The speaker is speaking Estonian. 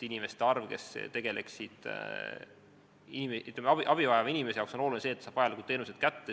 Abi vajavale inimesele on oluline, et ta saab vajalikud teenused kätte.